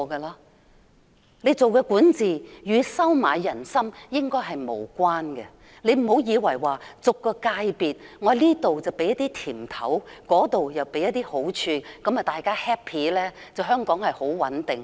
良好管治應與收買人心無關，不要以為向每個界別派些"甜頭"或好處，讓大家開心，香港便穩定。